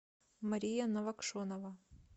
мария новокшенова